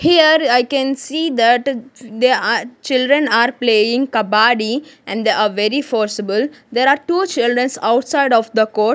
here i can see that they are children are playing kabaddi and they are very forceable there are two childrens outside of the court.